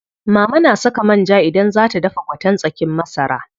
Mama na saka man ja idan zaa ta dafa gwaten tsakin masara.